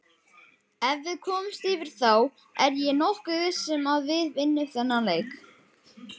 Ef við komumst yfir þá er ég nokkuð viss um að við vinnum þennan leik.